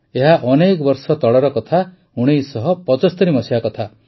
ଏହା ଅନେକ ବର୍ଷ ତଳର ୧୯୭୫ ମସିହା କଥା